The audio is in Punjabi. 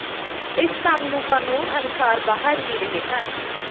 ਇਸ ਕੰਮ ਨੂੰ ਕਾਨੂੰਨ ਅਨੁਸਾਰ ਬਾਹਰ ਹੀ ਰਹੇ ਹਨ